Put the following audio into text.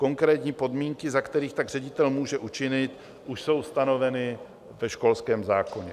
Konkrétní podmínky, za kterých tak ředitel může učinit, už jsou stanoveny ve školském zákoně.